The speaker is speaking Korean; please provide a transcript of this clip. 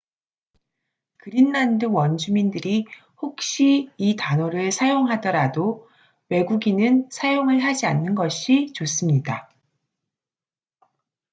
그린란드 원주민들이 혹시 이 단어를 사용하더라도 외국인은 사용을 하지 않는 것이 좋습니다